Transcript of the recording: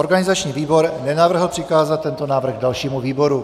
Organizační výbor nenavrhl přikázat tento návrh dalšímu výboru.